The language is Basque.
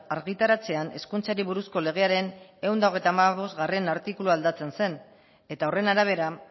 argitaratzean hezkuntzari buruzko legearen ehun eta hogeita hamabostgarrena artikulua aldatzen zen eta horren arabera